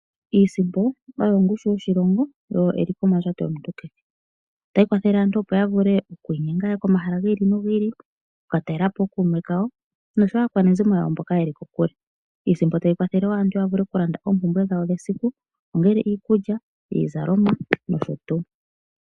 Iisimpo oyo ongushu yoshilongo yo oyo eliko mondjato yomuntu kehe. Otayi kwathele aantu opo ya vule oku inyenga yaye komahala giili nogiili. Oku ka talelapo ookume kayo noshowo aakwanezimo yawo mboka yeli kokule. Iisimpo tayi kwathele wo aantu ya vule oku landa oompumbwe dhawo dhesiku. Ongele iikulya, iizalomwa noshotuu.